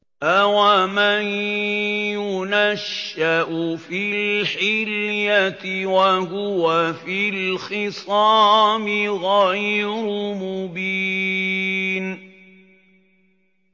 أَوَمَن يُنَشَّأُ فِي الْحِلْيَةِ وَهُوَ فِي الْخِصَامِ غَيْرُ مُبِينٍ